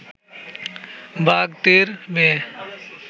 বাগদির মেয়ে